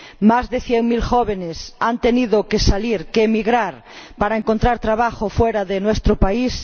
Más de cien mil jóvenes han tenido que salir, que emigrar para encontrar trabajo fuera de nuestro país.